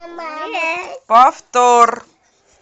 повтор